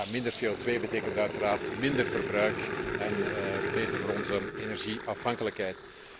Minder CO2 betekent uiteraard minder verbruik en is beter voor onze energie afhankelijkheid.